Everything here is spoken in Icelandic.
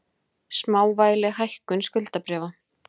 Smávægileg hækkun skuldabréfa